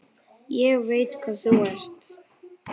Ég veit hvað þú ert.